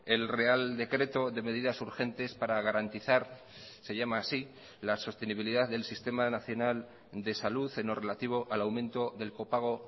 el real decreto de medidas urgentes para garantizar se llama así la sostenibilidad del sistema nacional de salud en lo relativo al aumento del copago